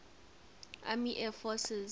army air forces